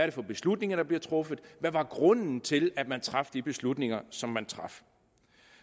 er for beslutninger der bliver truffet hvad grunden er til at man træffer de beslutninger som man træffer